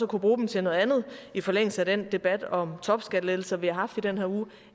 kunne bruge dem til noget andet i forlængelse af den debat om topskattelettelser vi har haft i den her uge